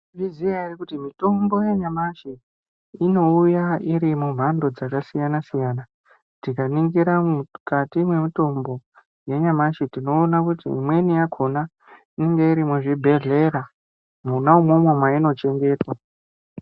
Munozviziya ere kuti mitombo yanyamashi inouya irimumhando dzakasiyanasiyana tikaningira mukati mwemitombo yenyamashi tinoona kuti imweni yakona inonga irimuzvibhehlera mwona umwomwo mweinochengetwa.